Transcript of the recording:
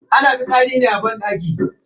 Ana fitsari ne a banɗaki.